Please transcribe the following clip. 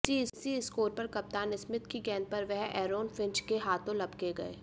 इसी स्कोर पर कप्तान स्मिथ की गेंद पर वह एरॉन फिंच के हाथों लपके गए